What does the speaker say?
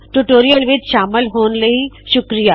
tutorial ਵਿੱਚ ਸ਼ਾਮਲ ਹੋਣ ਲਈ ਤੁਹਾੱਡਾ ਸ਼ੁਕਰਿਆ